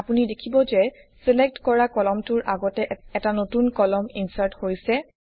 আপুনি দেখিব যে ছিলেক্ট কৰা কলামটোৰ আগতে এটা নতুন কলাম ইনচাৰ্ট হৈছে